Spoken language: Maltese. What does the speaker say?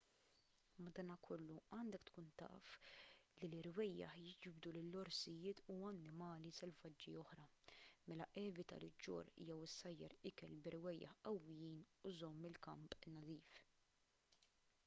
madankollu għandek tkun taf li l-irwejjaħ jiġbdu lill-orsijiet u annimali selvaġġi oħra mela evita li ġġorr jew issajjar ikel b'irwejjaħ qawwijin u żomm il-kamp nadif